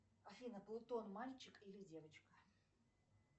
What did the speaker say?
афина плутон мальчик или девочка